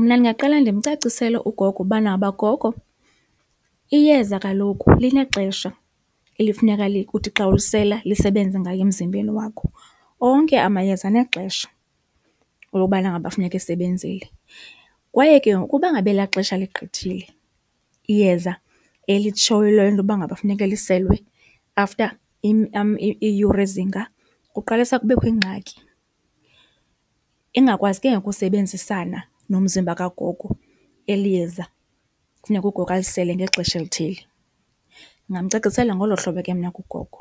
Mna ndingaqala ndimcacisele ugogo ubana uba, gogo iyeza kaloku linexesha elifuneka uthi xa ulisela lisebenze ngayo emzimbeni wakho, onke amayeza anexesha elobana ngaba kufuneka esebenzile. Kwaye ke ngoku uba ngaba ela xesha ligqithile iyeza elitshoyo intoba ngaba funeke liselwe after iiyure ezinga kuqalisa kubekho iingxaki, ingakwazi ke ngoku usebenzisana nomzimba kagogo eli yeza kufuneka ugogo alisele ngexesha elithile. Ndingamcacisela ngolo hlobo ke mna ke ugogo